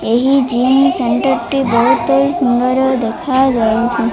ଏହି jeans centre ଟି ବହୁତ ସୁନ୍ଦର ଦେଖା ଯାଉ --